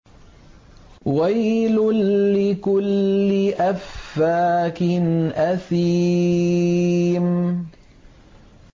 وَيْلٌ لِّكُلِّ أَفَّاكٍ أَثِيمٍ